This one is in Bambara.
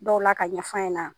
ɔw la ka ɲ' in n